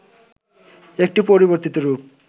একটি পরিবর্তিত রূপ